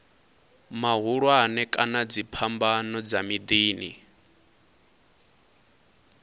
mahulwane kana dziphambano dza miḓini